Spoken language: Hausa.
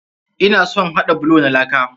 Ina son haɗa bulo na laka.